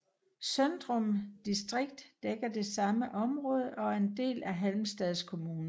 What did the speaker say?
Søndrum distrikt dækker det samme område og er en del af Halmstads kommun